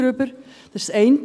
Das ist das eine.